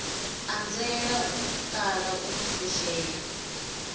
anzela u kala u fushea